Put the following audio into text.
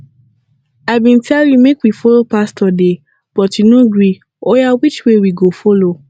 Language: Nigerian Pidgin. i bin tell you make we follow pastor de but you no gree oya which way we go follow